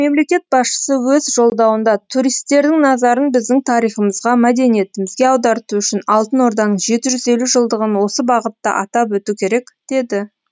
мемлекет басшысы өз жолдауында туристердің назарын біздің тарихымызға мәдениетімізге аударту үшін алтын орданың жеті жүз елу жылдығын осы бағытта атап өту керек деді